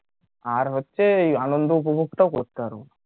আর হচ্ছে এই আনন্দ উপভোগটাও করতে হবে